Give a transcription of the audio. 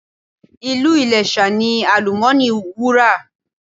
Ìlú Iléṣà ní àlùmọ́ọ́nì Wúrà.